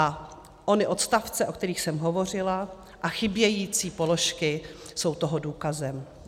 A ony odstavce, o kterých jsem hovořila, a chybějící položky jsou toho důkazem.